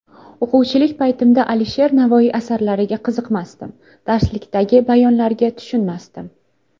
O‘quvchilik paytimda Alisher Navoiy asarlariga qiziqmasdim, darsliklardagi bayonlarga tushunmasdim.